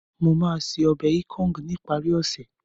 Mo máa ṣe ọbẹ̀ ikong ní ìparí ọ̀sẹ̀